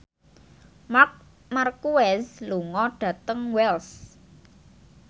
Marc Marquez lunga dhateng Wells